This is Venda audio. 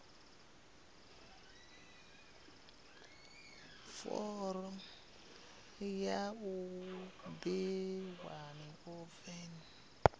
fomo ya u ḓiṅwalisa ya